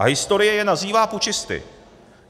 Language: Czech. A historie je nazývá pučisty.